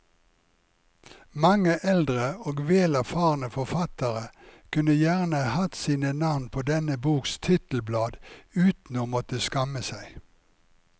Mange eldre og vel erfarne forfattere kunne gjerne hatt sine navn på denne boks titelblad uten å måtte skamme seg.